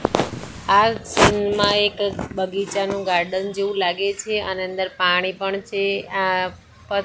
આ સીન માં એક બગીચાનું ગાર્ડન જેવું લાગે છે અને અંદર પાણી પણ છે આ પ--